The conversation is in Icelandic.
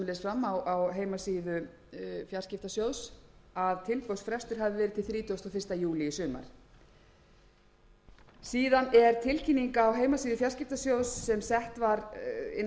fram á heimasíðu fjarskiptasjóðs að tilboðsfrestur hafi verið til þrítugasta og fyrsta júlí í sumar síðan er tilkynning á heimasíðu fjarskiptasjóðs sem sett var inn á